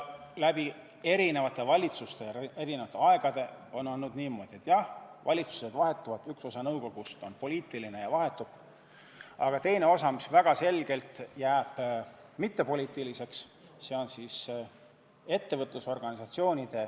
Erinevate valitsuste ajal ja erinevatel aegadel on olnud niimoodi, et jah, valitsused vahetuvad, üks osa nõukogust on poliitiline ja vahetub, aga teine osa on jäänud selgelt mittepoliitiliseks.